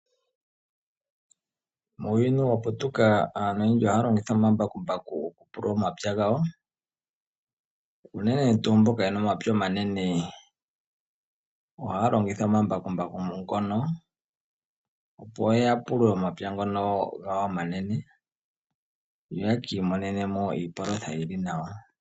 Muuyuni waputuka aantu oyendji ohaya longitha omambakumbaku okupulula omapya gawo. Uunene tuu mbono yena omapya omanene ohaya longitha omambakumbaku ngono, opo ya pulule omapya gawo ngono omanene ya mone iipalutha yili nawa.